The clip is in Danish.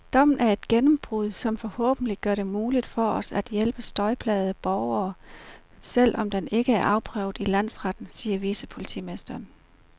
Dommen er et gennembrud, som forhåbentlig gør det muligt for os at hjælpe støjplagede borgere, selv om den ikke er afprøvet i landsretten, siger vicepolitimesteren.